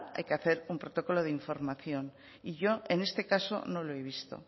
hay que hacer un protocolo de información y yo en este caso no lo he visto